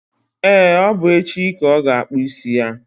e, ọ bụ echi ka ọ ga-akpụ isi ya.